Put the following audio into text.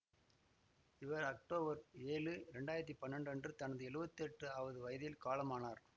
இவர் அக்டோபர் ஏழு இரண்டாயிரத்தி பன்னெண்டு அன்று தனது எழுவத்தி எட்டாவது வயதில் காலமானார்